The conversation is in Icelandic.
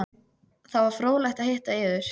Það var fróðlegt að hitta yður.